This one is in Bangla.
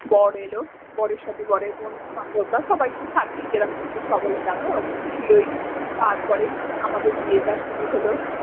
বর এলো বরের সাথে বরের বন্ধু বান্ধবরা সবাই তো থাকেই যেরকম তো সবাই জানো ওরকম ছিলোই তারপরে আমাদের বিয়েটা শুরু হল।